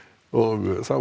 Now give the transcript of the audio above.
þá